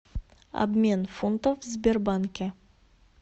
обмен фунтов в сбербанке